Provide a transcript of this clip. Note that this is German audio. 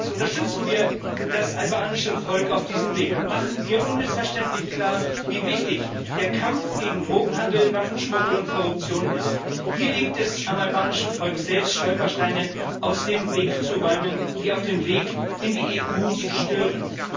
Unterstützen wir das albanische Volk auf diesem Weg und machen wir unmissverständlich klar, wie wichtig der Kampf gegen Drogenhandel, Waffenschmuggel und Korruption ist! Hier liegt es am albanischen Volk selbst, Stolpersteine aus dem Weg zu räumen, die auf dem Weg in die EU stören.